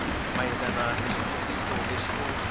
mayelana ni xitiviso lexi u